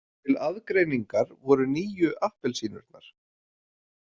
Til aðgreiningar voru nýju appelsínurnar.